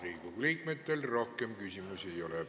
Riigikogu liikmetel rohkem küsimusi ei ole.